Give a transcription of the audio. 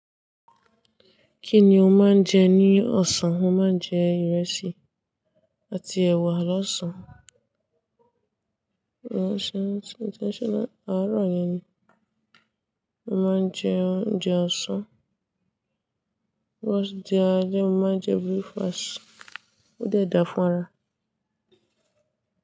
Kí ni o máa ń jẹ ní ọ̀sán? Mo máa ń jẹ ìrẹsì àti ẹ̀wà lọ́sàn-án. Lọ́sàn-án, àárọ̀ yẹn ni. Mo máa ń jẹ oúnjẹ ọ̀sán. Bótí di alẹ́, mo máa n jẹ breakfast ó dára fún ara.